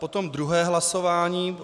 Potom druhé hlasování.